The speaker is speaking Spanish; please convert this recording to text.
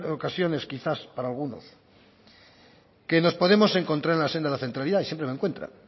ocasiones quizás para algunos que nos podemos encontrar en la senda de la centralidad y siempre me encuentra